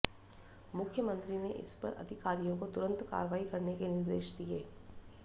मुख्यमंत्री ने इस पर अधिकारियों को तुरंत कार्रवाई करने के निर्देश दिये